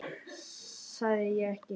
Sagði ég ekki?